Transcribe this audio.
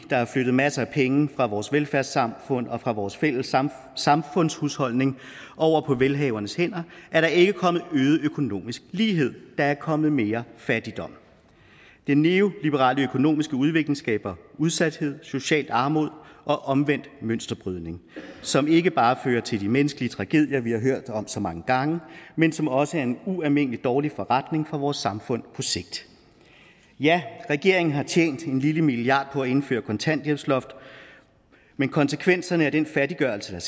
der er flyttet masser af penge fra vores velfærdssamfund og fra vores fælles samfundshusholdning over på velhavernes hænder er der ikke kommet øget økonomisk lighed der er kommet mere fattigdom den neoliberale økonomiske udvikling skaber udsathed social armod og omvendt mønsterbrydning som ikke bare fører til de menneskelige tragedier vi har hørt om så mange gange men som også er en ualmindelig dårlig forretning for vores samfund på sigt ja regeringen har tjent en lille milliard på at indføre kontanthjælpsloftet men konsekvenserne af den fattiggørelse der